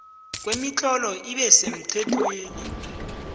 kwemitlolo ibe semthethweni